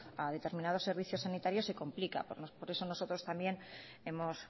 a determinados servicios sanitarios se complica por eso nosotros también hemos